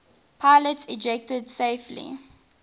pilots ejected safely